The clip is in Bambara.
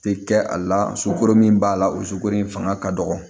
Tɛ kɛ a la sukoro min b'a la o sukoro in fanga ka dɔgɔ